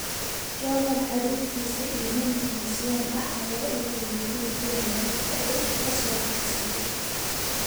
Jovan, caruurtiisa iyo nin Tunisian ah ayaa u guuray guri ku yaala Raqqa oo uu ka soo baxsaday.